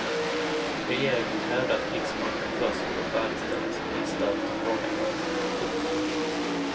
Regeringen krävde att krigsmakten först skulle färdigställa sin lista över tillfångatagna. punkt